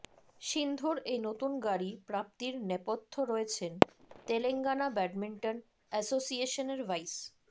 সিন্ধুর এই নতুন গাড়ি প্রাপ্তির নেপথ্যে রয়েছেন তেলঙ্গনা ব্যাডমিন্টন অ্যাসোসিয়েশনের ভাইস